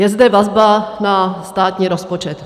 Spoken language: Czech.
Je zde vazba na státní rozpočet.